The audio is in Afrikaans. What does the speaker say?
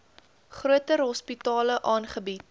groter hospitale aangebied